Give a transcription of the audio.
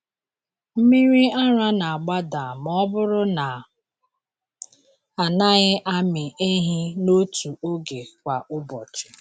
Mmiri ara na-agbada ma ọ bụrụ na a naghị amị ehi n’otu oge kwa ụbọchị.